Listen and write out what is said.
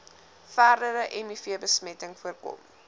verdere mivbesmetting voorkom